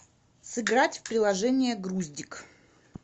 сыграть в приложение груздик